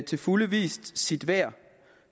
til fulde vist sit værd